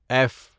F